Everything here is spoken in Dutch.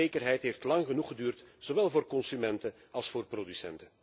En de onzekerheid heeft lang genoeg geduurd, zowel voor consumenten als voor producenten.